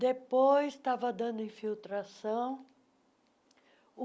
Depois estava dando infiltração.